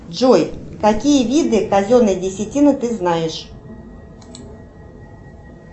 джой какие виды казенной десятины ты знаешь